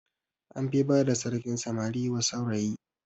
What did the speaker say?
An fi bada sarkin samari wa saurayi